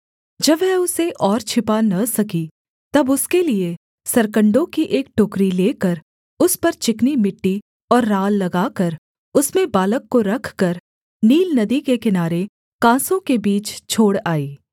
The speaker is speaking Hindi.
जब वह उसे और छिपा न सकी तब उसके लिये सरकण्डों की एक टोकरी लेकर उस पर चिकनी मिट्टी और राल लगाकर उसमें बालक को रखकर नील नदी के किनारे कांसों के बीच छोड़ आई